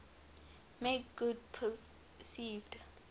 make good perceived